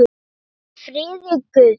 Hvíl í friði Guðs.